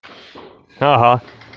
ага